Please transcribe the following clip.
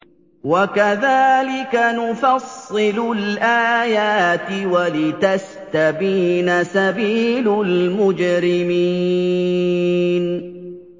وَكَذَٰلِكَ نُفَصِّلُ الْآيَاتِ وَلِتَسْتَبِينَ سَبِيلُ الْمُجْرِمِينَ